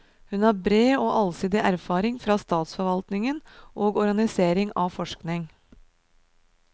Hun har bred og allsidig erfaring fra statsforvaltningen og organisering av forskning.